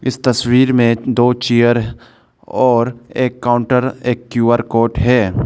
इस तस्वीर में दो चेयर और एक काउंटर एक क्यू_आर कोड है।